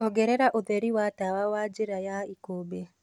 ongereraũtherĩ wa tawa wa njĩra ya ikumbi